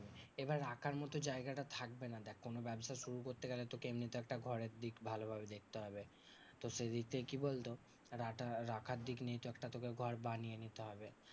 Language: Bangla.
এবার রাখার মতো জায়গাটা থাকবে না। দেখ কোনো ব্যাবসা শুরু করতে গেলে তোকে এমনিতে একটা ঘরের দিক ভালোভাবে দেখতে হবে। তো সেই দিক দিয়ে কি বলতো? রা রাখার দিক নিয়ে একটা তোকে ঘর বানিয়ে নিতে হবে।